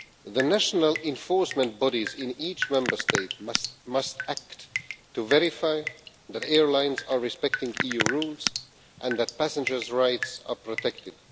The national enforcement bodies in each Member State must act to verify that airlines are respecting EU rules and that passengers' rights are protected.